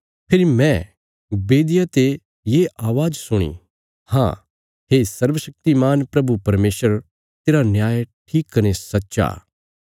फेरी मैं बेदिया ते ये अवाज़ सुणी हाँ हे सर्वशक्तिमान प्रभु परमेशर तेरा न्याय ठीक कने सच्चा